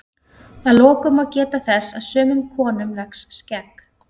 að lokum má geta þess að sumum konum vex skegg